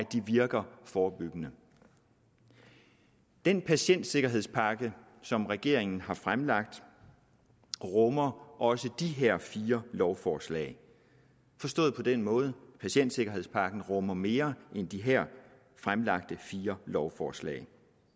de virker forebyggende den patientsikkerhedspakke som regeringen har fremlagt rummer også de her fire lovforslag forstået på den måde at patientsikkerhedspakken rummer mere end de her fremlagte fire lovforslag